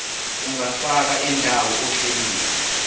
ungafaka indawo ohlelweni